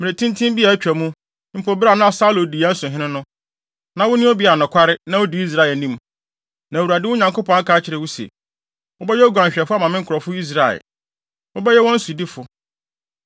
Mmere tenten bi a atwa mu, mpo bere a Saulo di yɛn so hene no, na wone obi a nokware na wudi Israel anim. Na Awurade, wo Nyankopɔn, aka kyerɛ wo se, ‘Wobɛyɛ oguanhwɛfo ama me nkurɔfo Israel. Wobɛyɛ wɔn sodifo!’ ”